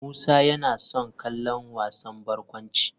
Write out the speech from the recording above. Musa yana son kallon wasan barkwanci.